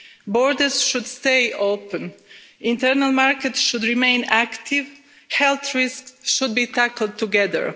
Borders should stay open, internal markets should remain active, health risks should be tackled together.